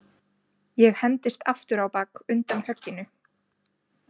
Ég hendist aftur á bak undan högginu.